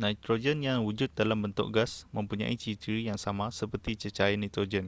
nitrogen yang wujud dalam bentuk gas mempunyai ciri-ciri yang sama seperti cecair nitrogen